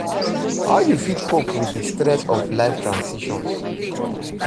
How you fit cope with di stress of life transitions?